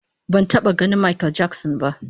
Ban taba ganin Makel Jakson ba